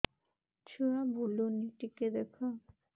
ଛୁଆ ବୁଲୁନି ଟିକେ ଦେଖ